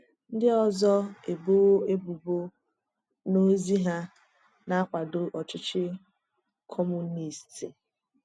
Ndị ọzọ ebowo ebubo na ozi hà na-akwado Ọchịchị Kọmunist.